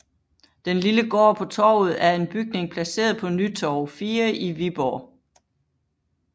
Den lille gård på Torvet er en bygning placeret på Nytorv 4 i Viborg